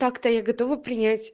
так-то я готова принять